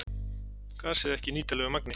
Gasið ekki í nýtanlegu magni